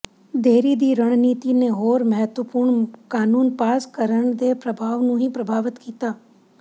ਦੇਰੀ ਦੀ ਰਣਨੀਤੀ ਨੇ ਹੋਰ ਮਹੱਤਵਪੂਰਨ ਕਾਨੂੰਨ ਪਾਸ ਕਰਨ ਦੇ ਪ੍ਰਭਾਵ ਨੂੰ ਵੀ ਪ੍ਰਭਾਵਤ ਕੀਤਾ